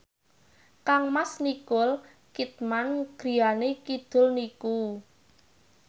kangmas Nicole Kidman griyane kidul niku